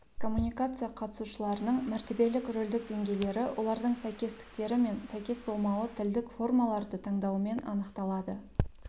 коммуникация қатысушыларының мәртебелік-рөлдік деңгейлері олардың сәйкестіктері мен сәйкес болмауы тілдік формаларды таңдауымен анықталады